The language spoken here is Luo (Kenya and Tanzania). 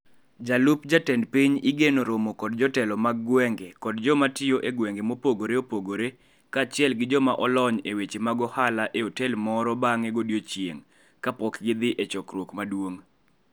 DP igeno romo kod jotelo mag gwenge kod joma tiyo e gwenge mopogore opogore kaachiel gi joma olony e weche mag ohala e otel moro bang'e godiechieng' kapok gidhi e chokruok maduong'.